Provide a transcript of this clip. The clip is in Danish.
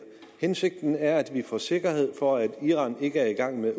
hensigten er at vi får sikkerhed for at iran ikke er i gang med